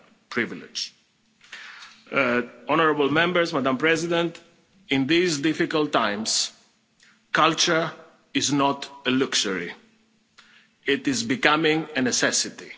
privilege. Honourable Members, Madam President, in these difficult times culture is not a luxury, it is becoming a necessity.